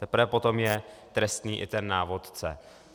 Teprve potom je trestný i ten návodce.